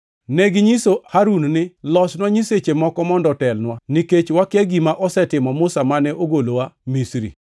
Neginyiso Harun ni, ‘Losnwa nyiseche moko mondo otelnwa, nikech wakia gima osetimo Musa mane ogolowa Misri!’ + 7:40 \+xt Wuo 32:1\+xt*